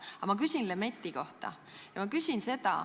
Aga ma küsin Lemetti kohta.